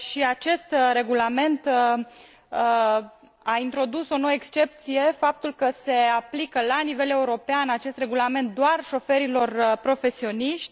Acest regulament a introdus o nouă excepție, faptul că se aplică la nivel european acest regulament doar șoferilor profesioniști.